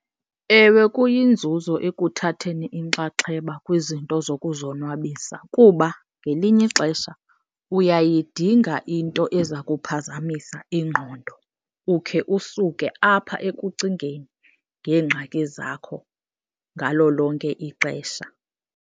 Ewe, kuyinzuzo ekuthatheni inxaxheba kwizinto zokuzonwabisa kuba ngelinye ixesha uyayidinga into eza kuphazamisa ingqondo ukhe usuke apha ekucingeni ngeengxaki zakho ngalo lonke ixesha.